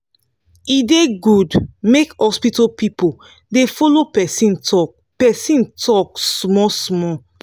e da good make hospital pipu da follo persin talk persin talk small small